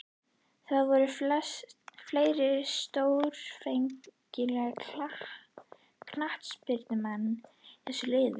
Það voru fleiri stórefnilegir knattspyrnumenn í þessu liði.